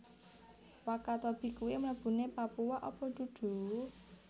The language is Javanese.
Wakatobi kui mlebune Papua apa dudu?